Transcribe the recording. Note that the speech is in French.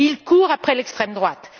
Ils courent après l'extrême droite.